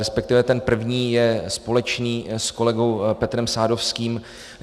Respektive ten první je společný s kolegou Petrem Sadovským.